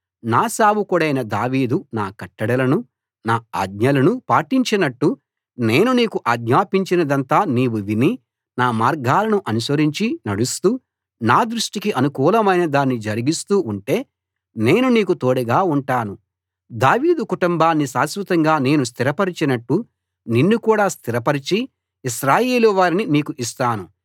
నా సేవకుడైన దావీదు నా కట్టడలను నా ఆజ్ఞలను పాటించినట్లు నేను నీకు ఆజ్ఞాపించినదంతా నీవు విని నా మార్గాలను అనుసరించి నడుస్తూ నా దృష్టికి అనుకూలమైన దాన్ని జరిగిస్తూ ఉంటే నేను నీకు తోడుగా ఉంటాను దావీదు కుటుంబాన్ని శాశ్వతంగా నేను స్థిరపరచినట్లు నిన్ను కూడా స్థిరపరచి ఇశ్రాయేలువారిని నీకు ఇస్తాను